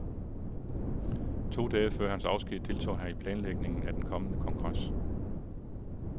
To dage før hans afsked deltog han i planlægningen af den kommende kongres.